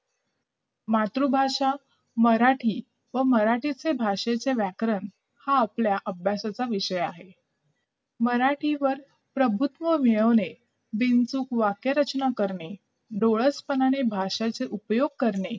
मातृभाषा मराठी व मराठी भाषेचे व्याकरण हा आपल्या अभ्यासाचा विषय आहे मराठीवर प्रभुत्व मिळवणे बिनचूक वाक्यरचना करणे डोळसपणाने भाषेचा उपयोग करणे